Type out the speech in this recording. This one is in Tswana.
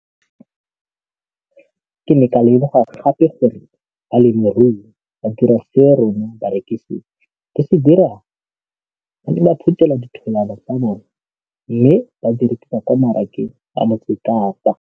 Ke ne ka lemoga gape gore balemirui ba dira seo rona barekisi re se dirang - ba ne ba phuthela ditholwana tsa bona mme ba di rekisa kwa marakeng wa Motsekapa.